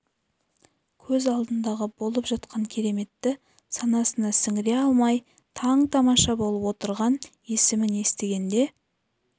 көз алдындағы болып жатқан кереметті санасына сіңіре алмай таң-тамаша болып отырған есімін естігенде